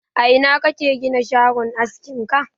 A ina kake gina shagon askin ka?